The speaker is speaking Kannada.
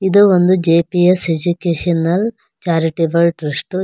ಇದು ಒಂದು ಜೆಪಿಎಸ್ ಎಜುಕೇಶನಲ್ ಚಾರಿಟೆಬಲ್ ಟ್ರಸ್ಟ್ .